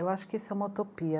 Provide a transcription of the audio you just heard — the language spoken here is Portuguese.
Eu acho que isso é uma utopia.